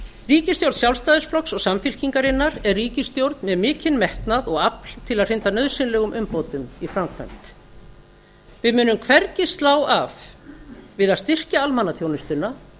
ríkisstjórn sjálfstæðisflokks og samfylkingarinnar er ríkisstjórn með mikinn metnað og afl til að hrinda nauðsynlegum umbótum í framkvæmd við munum hvergi slá af með því að styrkja almannaþjónustuna